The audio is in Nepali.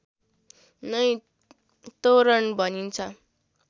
नै तोरण भनिन्छ